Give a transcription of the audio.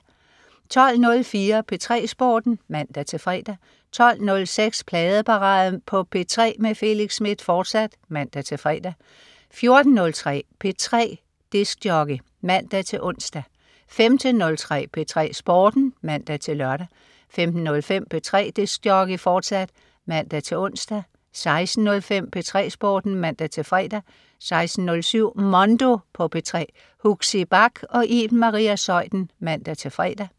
12.04 P3 Sporten (man-fre) 12.06 Pladeparade på P3 med Felix Smith, fortsat (man-fre) 14.03 P3 DJ (man-ons) 15.03 P3 Sporten (man-lør) 15.05 P3 DJ, fortsat (man-ons) 16.05 P3 Sporten (man-fre) 16.07 Mondo på P3. Huxi Bach og Iben Maria Zeuthen (man-fre)